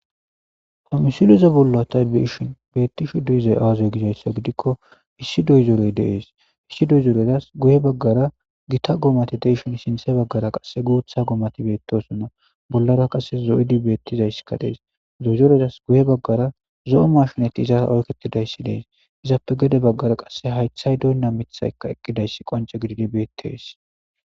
Issi dozerey dees,guye baggarara giita goomay dees